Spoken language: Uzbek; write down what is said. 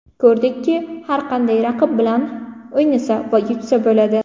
Ko‘rdikki, har qanday raqib bilan o‘ynasa va yutsa bo‘ladi”.